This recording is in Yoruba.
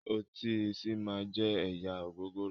Ọtí "seaman" jẹ́ ẹ̀yà ògògóró